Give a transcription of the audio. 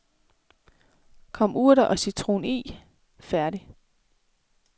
Kom urter og citron i, færdig.